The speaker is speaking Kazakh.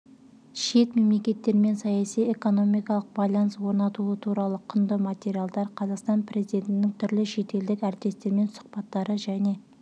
шет мемлекеттермен саяси-экономикалық байланыс орнатуы туралы құнды материалдар қазақстан президентінің түрлі шетелдік әріптестерімен сұхбаттары және